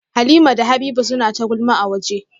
Halimah da Habiba suna ta gulma a waje